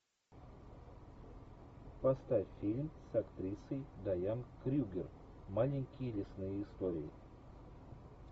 поставь фильм с актрисой дайан крюгер маленькие лесные истории